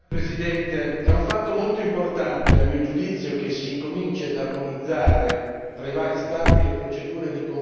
È un fatto molto importante, a mio giudizio, che si incomincino ad armonizzare tra i vari Stati le procedure di confisca.